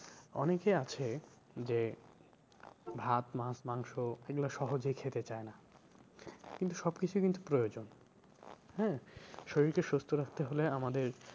অনেকে আছে যে ভাত মাছ মাংস এগুলো সহজে খেতে চায় না কিন্তু সব কিছুই কিন্তু প্রয়োজন হ্যাঁ? শরীর কে সুস্থ রাখতে হলে আমাদের